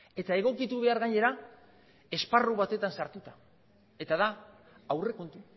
eta egokitu behar gainera esparru batetan sartuta eta da aurrekontu